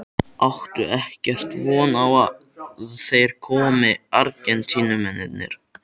Áttu ekkert von á að þeir komi Argentínumennirnir?